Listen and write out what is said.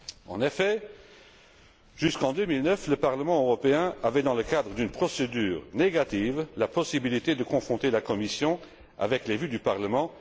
En effet, jusqu'en 2009, le Parlement européen avait, dans le cadre d'une procédure négative, la possibilité de confronter la Commission avec les vues du Parlement.